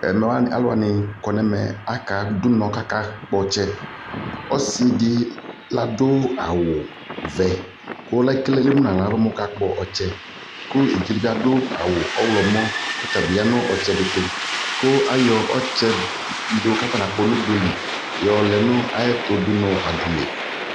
Ɛmɛ aluwani kaduɛmɛ akaadu unɔ kakakpɔtse Ɔsidi ladu awu vɛku eviɖʒedibi adu awu ɔwlɔmɔ kɔtabi ya nu ɔtsɛditu kuu ayɔ atsɛdikakɔnakpɔ nugbek nuɖʒqli